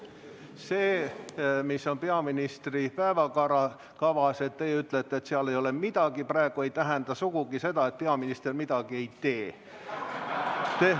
See, mis on peaministri päevakavas – kui teie ütlete, et seal ei ole praegu midagi, ei tähenda sugugi seda, et peaminister midagi tee.